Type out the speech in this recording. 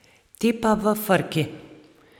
Ti pa v frki...